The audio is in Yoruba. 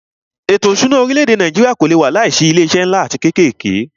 Ètò ìṣúná orílẹ̀-èdè Nàìjíríà kò lé wà láìsí awọn ilé iṣé nlá atí kékèké.